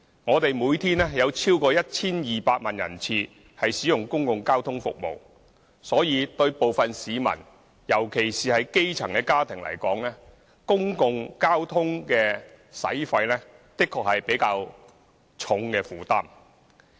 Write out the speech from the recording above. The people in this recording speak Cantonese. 我們每天有超過 1,200 萬人次使用公共交通服務，對部分市民，特別是基層家庭而言，公共交通的開支確實是比較重的負擔。